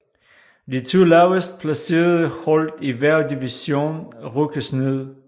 De to lavest placerede hold i hver division rykkes ned